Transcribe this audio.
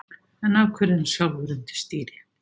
En af hverju er hann sjálfur undir stýri?